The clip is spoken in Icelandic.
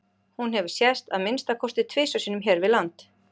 Hún hefur sést að minnsta kosti tvisvar sinnum hér við land.